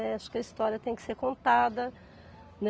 Acho que a história tem que ser contada.